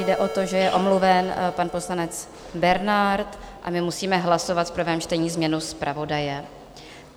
Jde o to, že je omluven pan poslanec Bernard, a my musíme hlasovat v prvém čtení změnu zpravodaje.